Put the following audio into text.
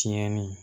Tiɲɛni